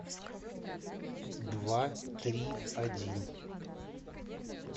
два три один